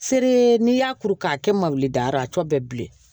Feere n'i y'a kuru k'a kɛ mawulidayɔrɔ a tɔ bɛɛ bi bilen